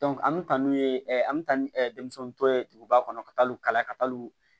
an bɛ taa n'u ye an bɛ taa ni denmisɛnninw tɔ ye duguba kɔnɔ ka taal'u kalan ka taalw